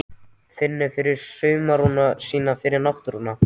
Finnur fyrir samruna sínum við náttúruna.